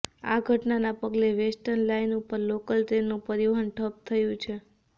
આ ઘટનાના પગલે વેર્સ્ટન લાઇન ઉપર લોકલ ટ્રેનનું પરિવહન ઠપ્પ થયું છે